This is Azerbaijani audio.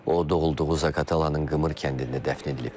O doğulduğu Zaqatalanın Qımır kəndində dəfn edilib.